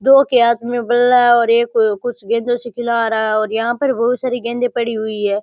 दो के हाथ में बल्ला है और एक कुछ गेंदों से खिला रहा है और यह पर बहुत सारी गेंदे पड़ी हुई है।